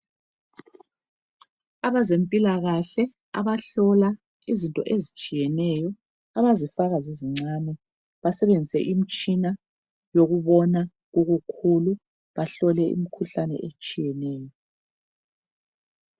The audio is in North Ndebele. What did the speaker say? Abezempilakahle abahlola izinto ezitshiyeneyo abazifaka zizincane basebenzise imtshina yokubona ubukhulu bahlole imkhuhlane etshiyeneyo.